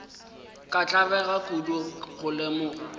ka tlabega kudu go lemoga